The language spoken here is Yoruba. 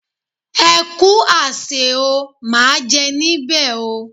Ẹ kú àsè o, máa jẹ níbè o.